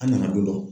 An nana don dɔ